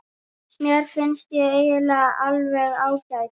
Mér finnst ég eiginlega alveg ágæt.